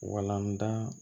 Walandan